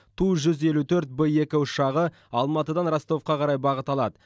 ту жүз елу тоғыз б екі ұшағы алматыдан ростовқа қарай бағыт алады